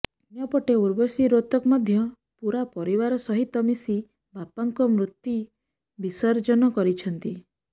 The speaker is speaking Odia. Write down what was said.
ଅନ୍ୟପଟେ ଉର୍ବଶୀ ରୋତକ ମଧ୍ୟ ପୂରା ପରିବାର ସହିତ ମିଶି ବାପାଙ୍କ ମୂର୍ତି ବିସର୍ଜନ କରିଛନ୍ତି